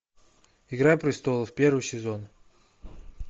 игра престолов первый сезон